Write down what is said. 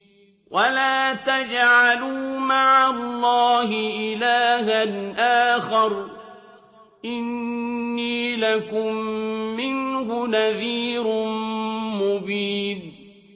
وَلَا تَجْعَلُوا مَعَ اللَّهِ إِلَٰهًا آخَرَ ۖ إِنِّي لَكُم مِّنْهُ نَذِيرٌ مُّبِينٌ